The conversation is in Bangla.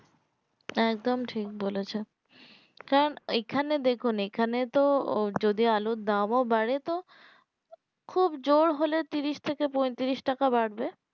এক দোম ঠিক বলেছে এখন এই খানে দেখুন এই খানে তো যদি আলুর দাম ও বাড়ে তো খুব জোর হলে ত্রিশ থেকে পঁয়ত্রিশ টাকা বাড়বে